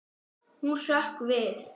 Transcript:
Hún hrökk við.